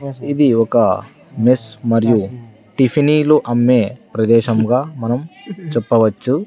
ఇది ఒకా మెస్ మరియు టిఫినీలు అమ్మే ప్రదేశంగా మనం చెప్పవచ్చు.